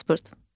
Pasport.